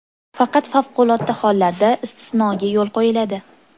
Faqat favqulodda holatlarda istisnoga yo‘l qo‘yiladi.